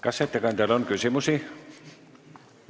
Kas ettekandjale on küsimusi?